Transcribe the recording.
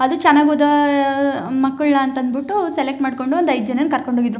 ಅದು ಚೆನ್ನಾಗಿದಾ ಆ ಆ ಮಕ್ಕಳನ್ನ ಅಂತ ಅಂದ್ಬಿಟ್ಟು ಸೆಲೆಕ್ಟ್ ಮಾಡ್ಕೊಂಡು ಒಂದೈದ್ ಜನನ್ನ ಕರ್ಕೊಂಡು ಹೋಗಿದ್ರು.